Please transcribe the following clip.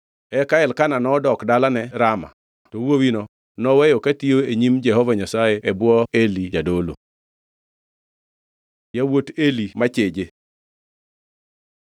Eka Elkana nodok dalane Rama to wuowino noweyo katiyo e nyim Jehova Nyasaye e bwo Eli jadolo. Yawuot Eli macheje